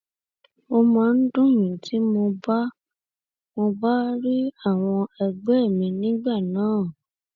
ó máa ń dùn mí tí mo bá mo bá rí àwọn ẹgbẹ mi nígbà náà